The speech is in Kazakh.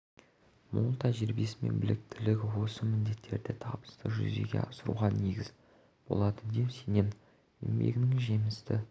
мол тәжірибесі мен біліктілігі осы міндеттерді табысты жүзеге асыруға негіз болады деп сенемін еңбегінің жемісті